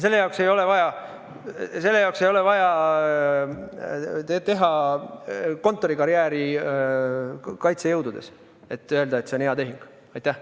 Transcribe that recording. Selle jaoks ei ole vaja teha kontorikarjääri kaitsejõududes, et öelda, et see esimene on hea tehing.